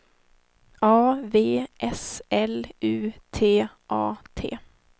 A V S L U T A T